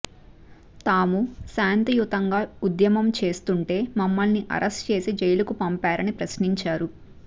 తాము శాంతియుతంగా ఉద్యమం చేస్తుంటే మమ్మల్ని అరెస్ట్ చేసి జైలుకు పంపారని ప్రశ్నించారు